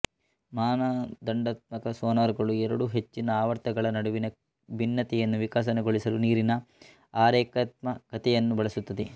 ಮಾನದಂಡಾತ್ಮಕ sonar ಗಳು ಎರಡು ಹೆಚ್ಚಿನ ಆವರ್ತನಗಳ ನಡುವಿನ ಭಿನ್ನತೆಯನ್ನು ವಿಕಾಸಗೊಳಿಸಲು ನೀರಿನ ಅರೇಖಾತ್ಮಕತೆಯನ್ನು ಬಳಸುತ್ತದೆ